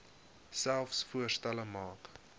selfs voorstelle maak